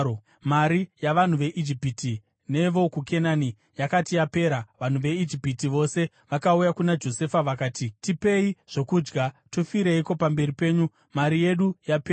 Mari yavanhu veIjipiti nevokuKenani yakati yapera, vanhu veIjipiti yose vakauya kuna Josefa vakati, “Tipei zvokudya. Tofireiko pamberi penyu? Mari yedu yapera.”